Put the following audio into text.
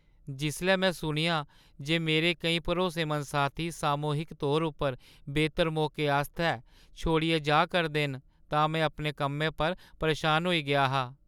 जिसलै में सुनेआ जे मेरे केईं भरोसेमंद साथी सामूहिक तौरा पर बेह्‌तर मौके आस्तै छोड़ियै जा दे न, तां में अपने कम्मै पर परेशान होई गेआ हा।